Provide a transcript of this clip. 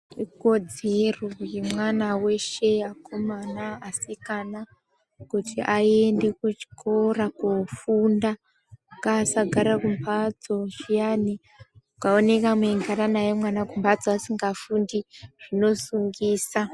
Ikodzedzero yemwana wese akomana asikana kuti aende kuchikora kufunda ngasagara kumatso zviyani mukaoneka megara naye kumasto zviyani zvosungisa